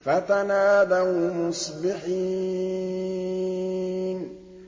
فَتَنَادَوْا مُصْبِحِينَ